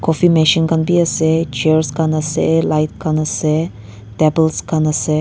machine khan bi ase chairs khan ase light khan ase tables khan ase.